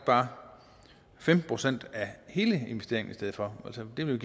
bare femten procent af hele investeringen i stedet for altså det ville